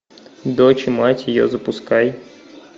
дочь и мать ее запускай